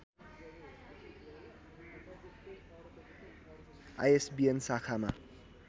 ISBN शाखामा